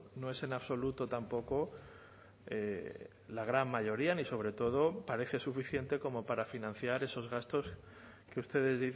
no es en absoluto tampoco la gran mayoría ni sobre todo parece suficiente como para financiar esos gastos que ustedes